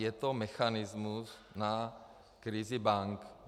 Je to mechanismus na krizi bank.